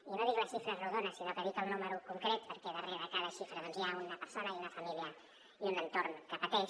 i no dic la xifra rodona sinó que dic el número concret perquè darrere de cada xifra hi ha una persona i una família i un entorn que pateix